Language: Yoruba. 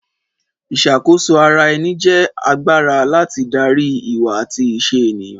Ìṣàkóso ara ẹni jẹ́ agbára láti darí ìwà àti ìṣe ènìyàn